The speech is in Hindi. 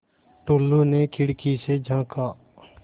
टुल्लु ने खिड़की से झाँका